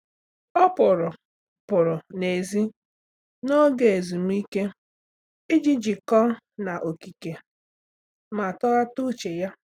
Ọ́ pụrụ pụrụ n’èzí n’ógè ezumike iji jíkọ́ọ́ na okike ma tọ́ghàta úchè ya.